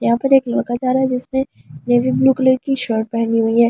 यहां पर एक लड़का जा रहा है जिसमें ब्लू कलर की शर्ट पहनी हुई है।